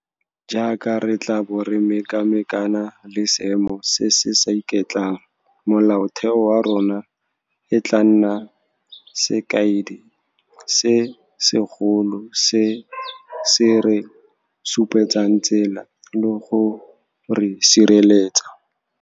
Jaaka re tla bo re mekamekana le seemo se se sa iketlang, Molaotheo wa rona e tla nna sekaedi se segolo se se re supetsang tsela le go re sireletsa.